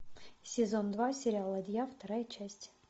сезон два сериал ладья вторая часть